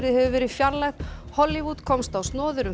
hefur verið fjarlægð Hollywood komst á snoðir um